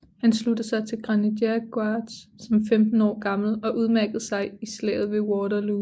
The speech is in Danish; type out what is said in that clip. Han sluttede sig til Grenadier Guards som 15 år gammel og udmærkede sig i slaget ved Waterloo